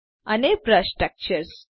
અને brush textures